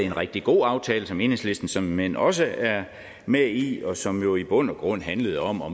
en rigtig god aftale som enhedslisten såmænd også er med i og som jo i bund og grund handlede om at